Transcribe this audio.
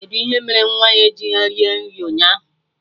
Kedụ ihe mere nwa ya ejighọ rie nri ụnyaahụ